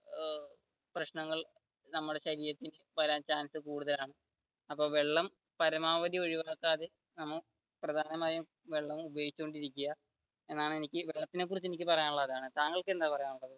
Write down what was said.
പ്രശ്നങ്ങൾ നമ്മുടെ ശരീരത്തിൽ വരാൻ chance കൂടുതലാണ് അപ്പൊ വെള്ളം പരമാവധി ഒഴിവാക്കാതെ പ്രധാനമായും വെള്ളം ഉപയോഗിച്ചോണ്ടിരിക്കുക എന്നാണ് എനിക്ക് വെള്ളത്തിനെ കുറിച്ച് പറയാനുളളത് അതാണ് താങ്കൾക്ക് എന്താണ് പറയാനുള്ളത്.